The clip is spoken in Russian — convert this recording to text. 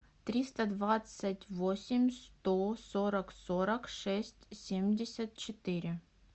триста двадцать восемь сто сорок сорок шесть семьдесят четыре